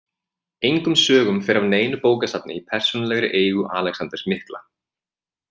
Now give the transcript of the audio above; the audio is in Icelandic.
Engum sögum fer af neinu bókasafni í persónulegri eigu Alexanders mikla.